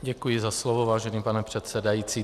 Děkuji za slovo, vážený pane předsedající.